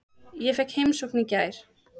Ég fékk heimsókn í gær.